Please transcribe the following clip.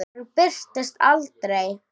Hann birtist aldrei.